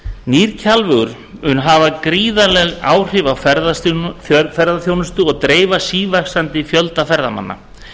nýr kjalvegur mun hafa gríðarleg áhrif á ferðaþjónustu og dreifa sívaxandi fjölda ferðamanna